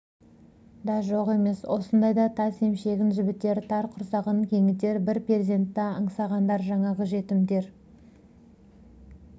да жоқ емес осындайда тас емшегін жібітер тар құрсағын кеңітер бір перзентті аңсағандар жаңағы жетімдер